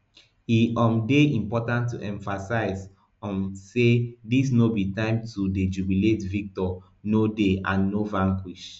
e um dey important to emphasize um say dis no be time to dey jubilate victor no dey and no vanquished